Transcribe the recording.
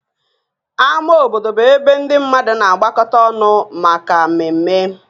Ámá obodo bụ ebe ndị mmadụ na-agbakọta ọnụ maka mmemme